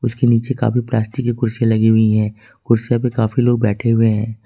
उसके नीचे काफी प्लास्टिक की कुर्सियां लगी हुई है कुर्सियों पे काफी लोग बैठे हुए हैं।